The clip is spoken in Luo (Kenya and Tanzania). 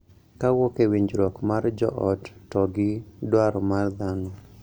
Kawuok e winjruok mar joot to gi dwaro mar dhano